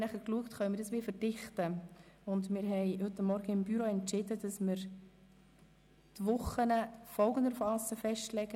Wir haben uns seitens des Büros überlegt, dies zu verdichten, und entschieden, dass wir die Wochen folgendermassen festlegen: